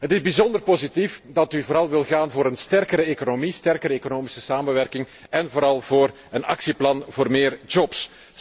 Het is bijzonder positief dat u vooral wilt gaan voor een sterkere economie, sterkere economische samenwerking en vooral voor een actieplan voor meer jobs.